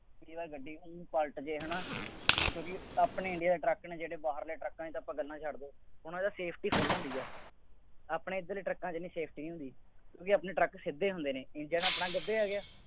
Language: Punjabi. ਜੇਕਰ ਗੱਡੀ ਪਲਟ ਜਾਏ ਹੈ ਨਾ, ਕੁਦਰਤੀ ਆਪਣੇ ਇੰਡੀਆ ਦੇ ਟਰੱਕ ਨੇ ਜਿਹੜੇ ਬਾਹਰਲੇ ਟਰੱਕਾਂ ਦੀਆ ਤਾਂ ਆਪਾਂ ਗੱਲਾਂ ਹੀ ਕਰਦੇ, ਉਹਨਾ ਦੀ safety ਹੁੰਦੀ ਹੈ। ਆਪਣੇ ਇੱਧਰ ਟਰੱਕਾਂ ਚ ਨਹੀਂ safety ਹੁੰਦੀ। ਕਿਉਂਕਿ ਆਪਣੇ ਟਰੱਕ ਸਿੱਧੇ ਹੁੰਦੇ ਨੇ, ਇੰਜਣ ਆਪਣਾ ਗੱਭੇ ਆ ਗਿਆ।